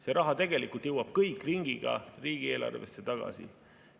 See raha jõuab kõik ringiga riigieelarvesse tagasi.